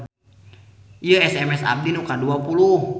Ieu SMS abdi nu kadua puluh